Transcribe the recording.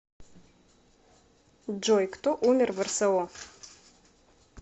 джой кто умер в рсо